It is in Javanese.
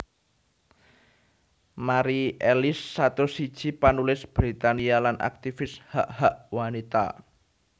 Mari Ellis satus siji panulis Britania lan aktivis hak hak wanita